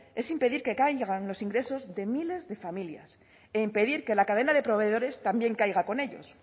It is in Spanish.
es impedir que caigan los ingresos de miles de familias e impedir que la cadena de proveedores también caiga con ellos